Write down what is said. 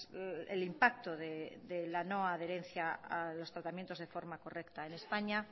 el impacto de la no adherencia a los tratamientos de forma correcta en españa